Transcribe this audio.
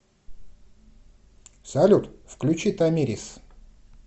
салют включи тамирис